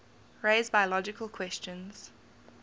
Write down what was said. raise biological questions